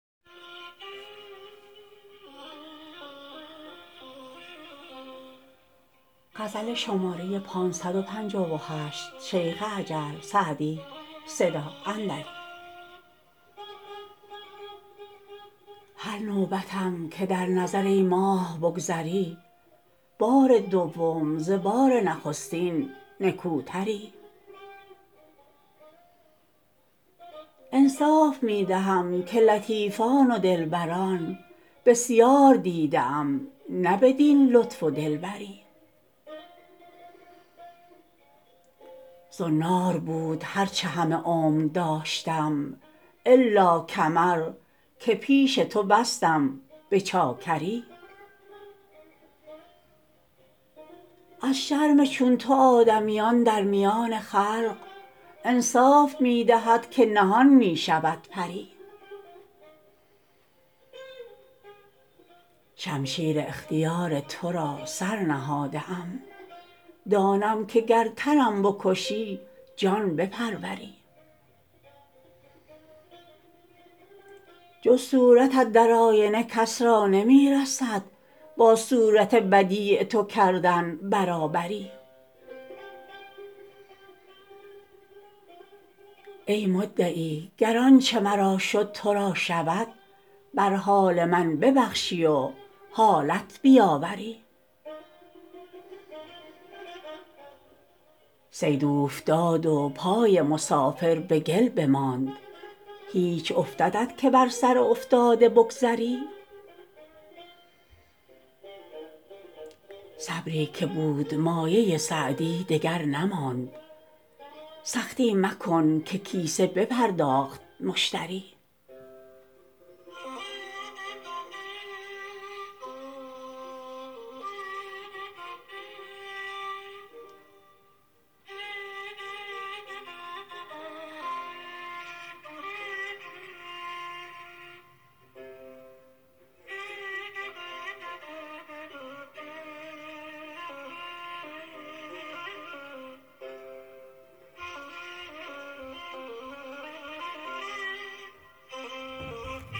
هر نوبتم که در نظر ای ماه بگذری بار دوم ز بار نخستین نکوتری انصاف می دهم که لطیفان و دلبران بسیار دیده ام نه بدین لطف و دلبری زنار بود هر چه همه عمر داشتم الا کمر که پیش تو بستم به چاکری از شرم چون تو آدمیان در میان خلق انصاف می دهد که نهان می شود پری شمشیر اختیار تو را سر نهاده ام دانم که گر تنم بکشی جان بپروری جز صورتت در آینه کس را نمی رسد با صورت بدیع تو کردن برابری ای مدعی گر آنچه مرا شد تو را شود بر حال من ببخشی و حالت بیاوری صید اوفتاد و پای مسافر به گل بماند هیچ افتدت که بر سر افتاده بگذری صبری که بود مایه سعدی دگر نماند سختی مکن که کیسه بپرداخت مشتری